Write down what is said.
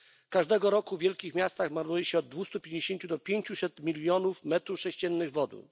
Każdego roku w wielkich miastach marnuje się od 250 do 500 milionów metrów sześciennych wody.